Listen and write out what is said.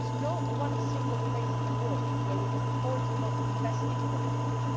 in Asia. There is not a single place in the word where we can afford not to invest politically.